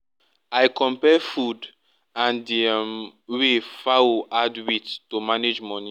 i compare food and di um way fowl add weight to manage money